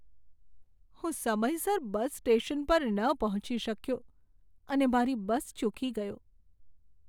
હું સમયસર bus station પર ન પહોંચી શક્યો અને મારી બસ ચૂકી ગયો.